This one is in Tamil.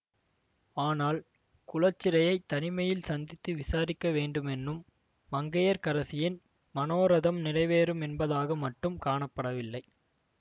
ஆனால் குலச்சிறையைத் தனிமையில் சந்தித்து விசாரிக்க வேண்டுமென்னும் மங்கையர்க்கரசியின் மனோரதம் நிறைவேறும் என்பதாக மட்டும் காணப்படவில்லை